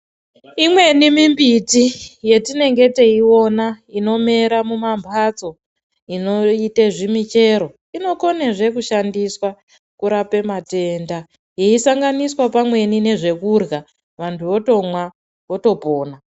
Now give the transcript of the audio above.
Imweni mimbiti yetinenge teiona inomera mumamhatso inoite zvimichero inokone zve kushandiswa kurape matenda yeisanganiswa pamweni nezvekurya vanhu votomwa votopona.